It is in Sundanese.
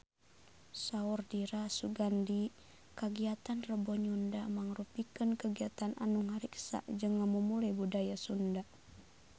Saur Dira Sugandi kagiatan Rebo Nyunda mangrupikeun kagiatan anu ngariksa jeung ngamumule budaya Sunda